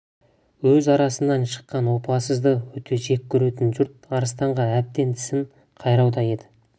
өз арасынан шыққан опасызды өте жек көретін жұрт арыстанға әбден тісін қайрауда еді